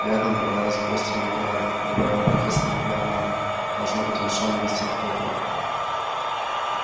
рядом валялась гроздь винограда добавила профессор макгонагалл должно быть он шёл навестить поттера